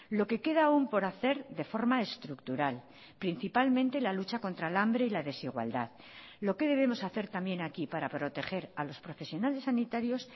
lo que queda aún por hacer de forma estructural principalmente la lucha contra el hambre y la desigualdad lo que debemos hacer también aquí para proteger a los profesionales sanitarios